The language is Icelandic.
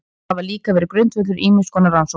Þau hafa líka verið grundvöllur ýmiss konar rannsókna.